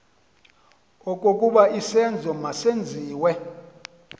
okokuba isenzo masenziwe